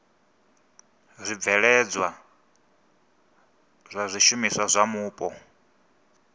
zwibveledzwa zwa zwishumiswa zwa mupo